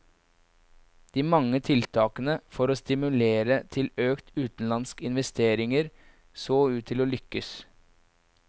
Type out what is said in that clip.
De mange tiltakene for å stimulere til økte utenlandske investeringer så ut til å lykkes.